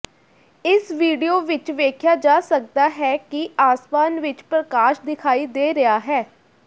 ਇਸ ਵੀਡੀਓ ਵਿਚ ਵੇਖਿਆ ਜਾ ਸਕਦਾ ਹੈ ਕਿ ਅਸਮਾਨ ਵਿਚ ਪ੍ਰਕਾਸ਼ ਦਿਖਾਈ ਦੇ ਰਿਹਾ ਹੈ